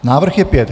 Návrh je pět.